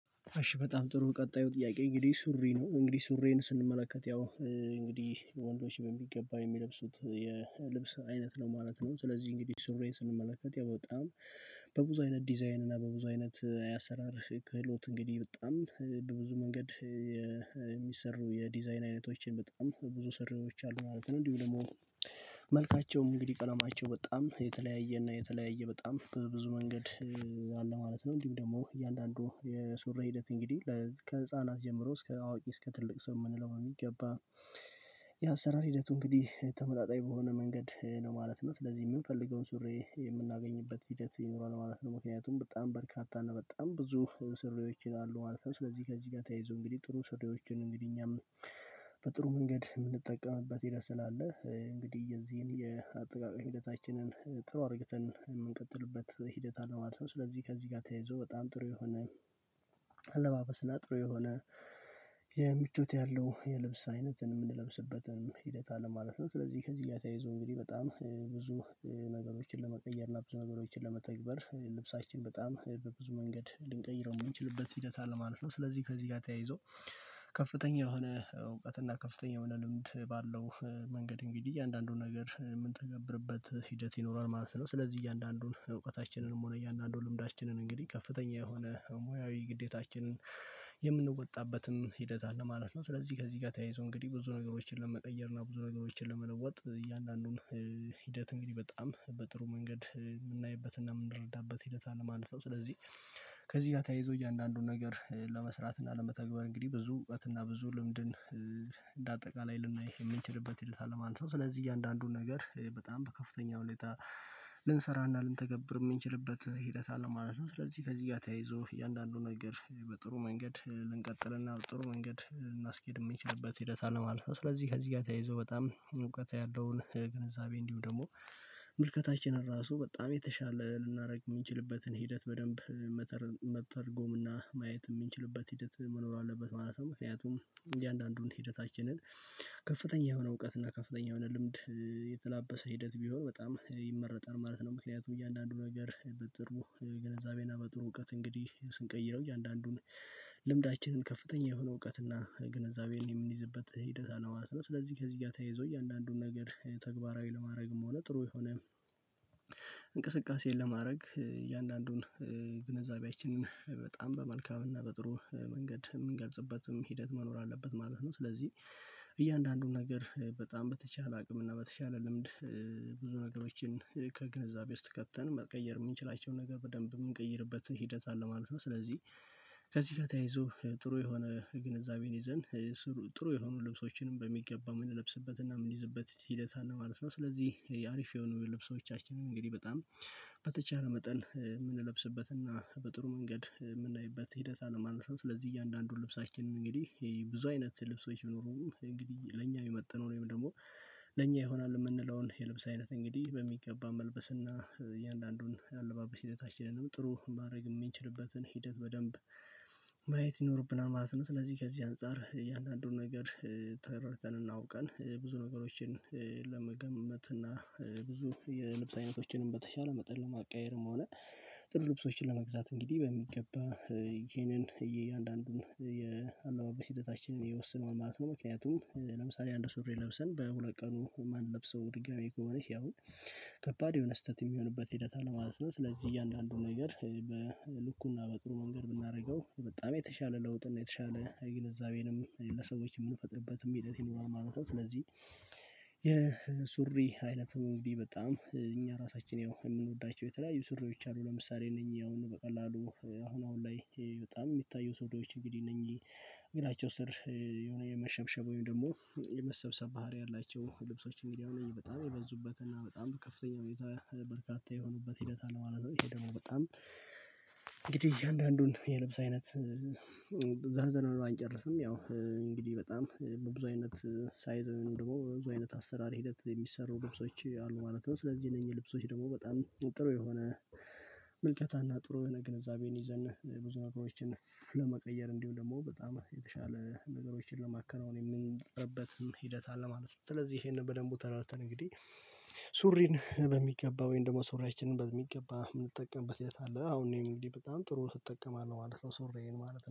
አሽ በጣም ጥሩ ቀጣዩ ጥያቄ እንግዲህ ሱሪ ነው እንግዲህ ሱሪየን ስንመለከት ያው እንግዲህ ወንዶች በሚገባ የሚለብሱት የልብስ አይነት ነው ማለት ነው። ስለዚህ እንግዲህ ሱሪየን ስንመለከት ያው በጣም በብዙ አይነት ዲዛይን እና በብዙ አይነት ያሰራር ክህሎት እንግዲህ በጣም በብዙ መንገድ የሚሰሩ የዲዛይን አይነቶችን በጣም በብዙ ስሩዎች አሉ ማለት ነው። እንዲሁ ደሞ መልካቸውም እንግዲህ ቀለማቸው በጣም የተለያየ እና የተለያየ በጣም በብዙ መንገድ አለ ማለት ነው። እንዲሁም ደሞ እያንዳንዱ የሱሪ ሂደት እንግዲህ ከህፃናት ጀምሮ እስከ አዋቂ እስከ ትልቅ ስም ምንለው በሚገባ የአሰራር ሂደቱ እንግዲህ ተመጣጣኝ በሆነ መንገድ ነው ማለት ነው። ስለዚህ ምንፈልገውን ሱሬ የምናገኝበት ሂደት ይኖረዋል ማለት ነው። ምክንያቱም በጣም በርካታ እና በጣም ብዙ ሱሪወች አሉ ማለት ነው። ስለዚህ ከዚህ ጋ ተያይዞ እንግዲህ ጥሩ ሱሪየዎችን እንግዲህ እኛም በጥሩ ምንገድ ምንጠቀምበት ሂደት ስለ አለ እንግዲህ የዚህን የአጠቃቀም ሂደታችንን ጥሩ አድርግተን ምንቀጥልበት ሂደት አለ ማለት ነው። ስለዚህ ከዚህ ጋር ተያይዞ በጣም ጥሩ የሆነ አለባበስና ጥሩ የሆነ የምቾት ያለው የልብስ አይነትን የምንለብስበትን ሂደት አለ ማለት ነው። ስለዚህ ከዚህ ጋ ተያይዘው እንግዲህ በጣም ብዙ ነገሮችን ለመቀየር እና ብዙ ነገሮችን ለመተግበር ልብሳችን በጣም በብዙ መንገድ ልንቀይረው ምንችልበት ሂደት አለ ማለት ነው። ስለዚህ ከዚህ ጋ ተያይዞ ከፍተኛ የሆነ እውቀት እና ከፍተኛ የሆነ ልምድ ባለው መንገድ እንግዲህ እያንዳንዱን ነገር ምንተገብርበት ሂደት ይኖረዋል ማለት ነው። ስለዚህ እያንዳንዱን እውቀታችንንም ሆነ እያንዳንዱን ልምዳችንን እንግዲህ ከፍተኛ የሆነ ሙያዊ ግዴታችንን የምንወጣበትም ሂደት አለ ማለት ነው። ስለዚህ ከዚህ ጋር ተያይዞ እንግዲህ ብዙ ነገሮችን ለመቀየር እና ብዙ ነገሮችን ለመለወጥ እያንዳንዱን ሂደት እንግዲህ በጣም በጥሩ ምንገድ ምናይበትና ምንረዳበት ሂደት አለ ማለት ነው። ስለዚህ ከዚህ ጋ ተያይዞ እያንዳንዱን ነገር ለመስራት እና ለመተግበር እንግዲህ ብዙ እውቀት እና ብዙ ልምድን አጠቃላይ ልናይ እምንችልበትን አለ ማለት ነው። ስለዚህ እያንዳንዱን ነገር በጣም በከፍተኛ ሁኔታ ልንሰራና ልንተገብር ምንችልበት ሂደት አለን ማለት ነው። ስለዚህ ከዚህ ጋር ተያይዞ እያንዳንዱ ነገር በጥሩ መንገድ ልንቀጥልና ጥሩ መንገድ ልናስኬድ ምንችልበት ሂደት አለ ማለት ነው። ስለዚህ ከዚህ ጋ ተያይዞ በጣም እውቀት ያለውን ግንዛቤ እንዲሁ ደግሞ ምልከታችንን ራሱ በጣም የተሻለ ልናደርግ ምንችልበትን ሂደት በደንብ መተርጎምና ማየት ምንችልበት ሂደት መኖር አለበት ማለት ነው። ምክንያቱም እያንዳንዱን ሂደታችንን ከፍተኛ የሆነ እውቀት እና ከፍተኛ የሆነ ልምድ የተላበሰ ሂደት ቢሆን በጣም ይመረጣል ማለት ነው። ምክንያቱም እያንዳንዱ ነገር በጥሩ ግንዛቤ እና በጥሩ እውቀት እንግዲህ ስንቀይረው እያንዳንዱን ልምዳችንን ከፍተኛ የሆነ እውቀት እና ግንዛቤ የምንይዝበት ሂደት አለዋ። ስለዚህ ከዚህ ጋ ተያይዞ እያንዳንዱን ነገር ተግባራዊ ለማድረግም ሆነ ጥሩ የሆነ እንቅስቃሴን ለማረግ እያንዳንዱን ግንዛቤችንን በጣም በመልካም እና በጥሩ ምንገድ እምንገልጽበትም ሂደት መኖር አለበት ማለት ነው። ስለዚህ እያንዳንዱን ነገር በጣም በተቻለ አቅም እና በተቻለ ልምድ ብዙ ነገሮችን ከግንዛቤ ውስጥ ከተን መቀየር እምንችላቸውን ነገር በደንብ እምንቀይርበትን ሂደት አለ ማለት ነው። ስለዚህ ከዚህ ጋ ተያይዞ ጥሩ የሆነ ግንዛቤን ይዘን ጥሩ የሆኑ ልብሶችንም በሚገባ ምንለብስበት እና ምንይዝበት ሂደት አለ ማለት ነው። ስለዚህ ያ አሪፍ የሆኑ ልብሶቻችንን እንግዲህ በጣም በተቻለ መጠን ምንለብስበት እና በጥሩ ምንገድ ምናይበት ሂደት አለ ማለት። ስለዚህ እያንዳንዱን ልብሳችን እንግዲህ ይህ ብዙ አይነት ልብሶች ቢኖሩም እንግዲህ ለኛ ሚመጠነው ወይም ደግሞ ለኛ ይሆናል እምንለውን የልብስ አይነት እንግዲህ በሚገባ መልበስና እያንዳንዱን ያለባበስ ሂደታችንንም ጥሩ ማረግ እምንችልበትን ሂደት በደንብ ማየት ይኖርብናል ማለት ነው። ስለዚህ ከዚህ አንፃር እያንዳንዱን ነገር ተረድተን እና አውቀን ብዙ ነገሮችን ለመገመት እና ብዙ የልብስ አይነቶችንም በተቻለ መጠን ለማቀያየርም ሆነ ጥሩ ልብሶችን ለመግዛት እንግዲህ በሚገባ ይሄንን እያንዳንዱን የአለባበስ ሂደታችንን ይዉሰነዋን ማለት ነው። ምክንያቱም ለምሳሌ አንድ ሱሪ ለብሰን በሁለት ቀኑ ማንለብሰው ድጋሚ ከሆነ ያው ከባድ የሆነ ስተት የሚሆንበት ሂደት አለ ማለት ነው። ስለዚህ እያንዳንዱ ነገር በልኩና በጥሩ መንገድ ብናደርገው በጣም የተሻለ ለውጥና የተሻለ ግንዛቤንም ለሰዎች ምንፈጥርበትም ሂደት ይኖራል ማለት ነው። ስለዚህ የሱሪ አይነቱ እንግዲህ በጣም እኛ ራሳችን ያው እምንወዳቸው የተለያዩ ስሪዎች አሉ ለምሳሌ እነኚህ አሁን በቀላሉ አሁን አሁን ላይ በጣም ሚታዩ ሱሪወች እንግዲህ እነኝ እግራቸው ስር የሆነ የመሸምሸብ ወይም ደሞ የመሰብሰብ ባህሪ ያላቸው ልብሶች እንግዲህ በጣም የበዙበትና በጣም ከፍተኛ ሁኔታ በርካታ የሆኑበት ሂደት አለ ማለት ነው። ይሄ ደግሞ በጣም እንግዲህ እያንዳንዱን የልብስ አይነት ዘርዝረን ባንጨርስም ያው እንግዲህ በጣም በብዙ አይነት ሳይዝ ወይንም ደግሞ ብዙ አይነት አሰራር ሂደት የሚሰሩ ልብሶች አሉ ማለት ነው። ስለዚህ እነኝህ ልብሶች ደግሞ በጣም ጥሩ የሆነ ምልከታና ጥሩ የሆነ ግንዛቤን ይዘን ብዙ ነገሮችን ለመቀየር እንዲሁ ደሞ በጣም የተሻለ ነገሮችን ለማከናወን የምንጠረበትም ሂደት አለ ማለት ነው። ስለዚህ እሄንን በደንቡ ተረድተን እንግዲህ ሱሪን በሚገባ ወይም ደሞ ሱሪያችንን በሚገባ ምንጠቀምበት ሂደት አለ አሁን ላይ እንግዲህ በጣም ጥሩ እጠቀምአለሁ ማለት ነው ሱሪየን ማለት ነው